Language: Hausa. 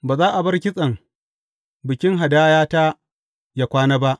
Ba za a bar kitsen bikin hadayata yă kwana ba.